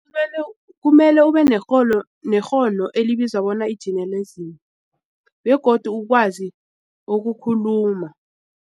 Kumele ube nekghono elibizwa bona i-journalism begodu ukwazi ukukhuluma.